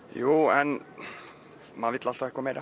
jú en maður vill alltaf eitthvað meir